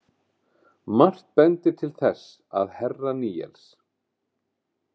Margt bendir til þess að herra Níels.